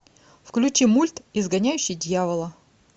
включи мульт изгоняющий дьявола